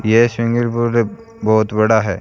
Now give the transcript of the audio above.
ये swimming pool है बहोत बड़ा है।